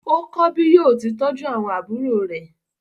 Ó kọ́ bí yóò ti tọ́jú àwọn àbúrò rẹ̀.